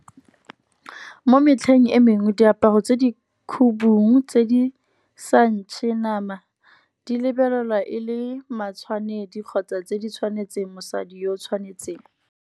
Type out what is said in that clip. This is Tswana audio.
Mo metlheng e mengwe diaparo tse di khubung tse di sa ntšhe nama, di lebelelwa e le matshwanedi, kgotsa tse di tshwanetseng mosadi yo tshwanetseng.